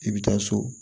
I bɛ taa so